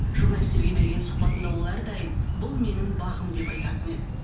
журналистерге берген сұхбатында ол әрдайым бұл менің бағым деп айтатын еді